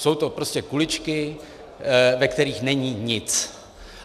Jsou to prostě kuličky, ve kterých není nic.